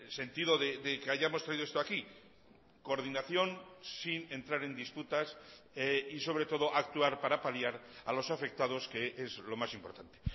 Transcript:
sentido de que hayamos traído esto aquí coordinación sin entrar en disputas y sobre todo actuar para paliar a los afectados que es lo más importante